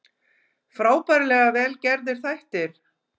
Frábærlega vel gerðir þættir